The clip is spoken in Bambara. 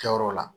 Kɛyɔrɔ la